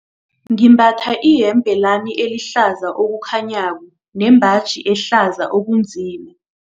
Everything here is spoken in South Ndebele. Ngimbatha iyembe lami elihlaza okukhanyako nembaji ehlaza okunzima.